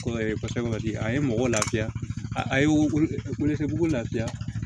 Ko sɛbɛn kɔni a ye mɔgɔw lafiya a ye wele kɛ bugu lafiya